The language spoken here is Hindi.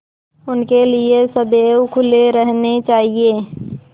उनके लिए सदैव खुले रहने चाहिए